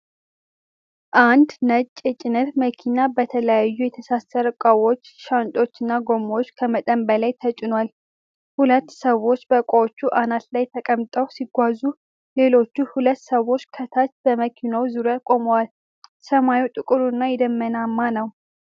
አንድ ነጭ የጭነት መኪና በተለያዩ የተሳሰሩ እቃዎች፣ ሻንጣዎች እና ጎማዎች ከመጠን በላይ ተጭኗል። ሁለት ሰዎች በእቃዎቹ አናት ላይ ተቀምጠው ሲጓዙ፣ ሌሎች ሁለት ሰዎች ከታች በመኪናው ዙሪያ ቆመዋል። ሰማዩ ጥቁር እና የደመናማ ነው።